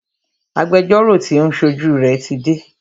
Agbẹjọ́rọ́ tí o ń ṣojú rẹ tí dé.